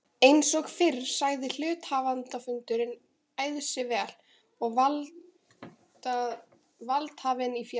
Eins og fyrr sagði er hluthafafundur æðsti valdhafinn í félaginu.